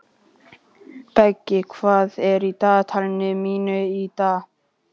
Beggi, hvað er í dagatalinu mínu í dag?